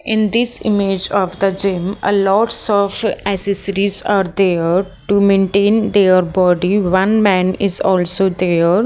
in this image of the gym a lots of accessories are there to maintain their body one man is also there.